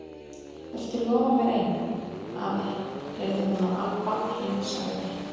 Viltu lofa mér einu, afi, heyrði hún að Abba hin sagði.